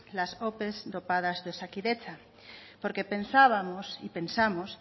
las ope dopadas de osakidetza porque pensábamos y pensamos